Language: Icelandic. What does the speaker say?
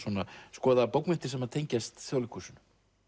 skoða bókmenntir sem tengjast Þjóðleikhúsinu